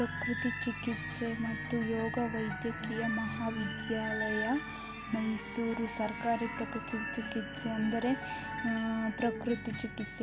ಪ್ರಕೃತಿ ಚಿಕಿತ್ಸೆ ಮತ್ತು ಯೋಗ ವೈದ್ಯಕೀಯ ಮಹಾ ವಿದ್ಯಾಲಯ ಮೈಸೂರು ಸರ್ಕಾರಿ ಪ್ರಕೃತಿ ಚಿಕಿತ್ಸೆ ಅಂದರೆ ಆ-ಪ್ರಕೃತಿ ಚಿಕಿತ್ಸೆ.